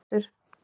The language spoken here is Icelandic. Skjöldur